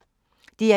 DR1